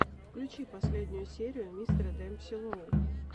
включи последнюю серию мистера демпси лоу